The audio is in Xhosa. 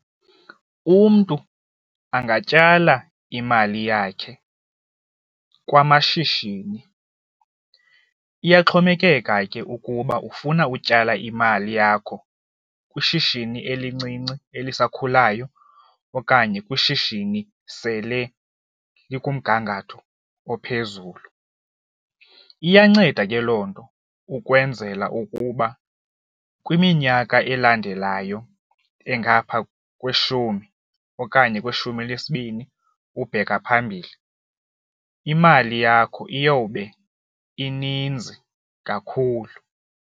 Umntu angatyala imali yakhe kwamashishini, iyaxhomekeka ke ukuba ufuna utyala imali yakho kwishishini elincinci elisakhulayo okanye kwishishini sele likumgangatho ophezulu. Iyanceda ke loo nto ukwenzela ukuba kwiminyaka elandelayo engaphaa kweshumi okanye kweshumi elinesibini ubheka phambili imali yakho iyawube ininzi kakhulu.